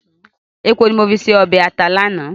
Èpo ní mo fi se ọbẹ̀ ata lánàá